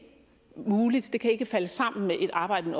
muligt det kan ikke falde sammen med et arbejde i